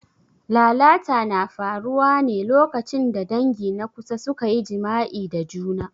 Lalata na faruwa ne lokacin da dangi na kusa suka yi jima'i da juna.